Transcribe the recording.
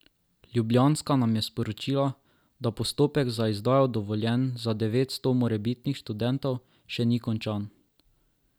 Ljubljanska nam je sporočila, da postopek za izdajo dovoljenj za devetsto morebitnih študentov še ni končan.